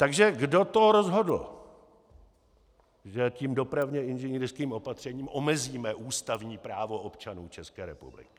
Takže kdo to rozhodl, že tím dopravně inženýrským opatřením omezíme ústavní právo občanů České republiky?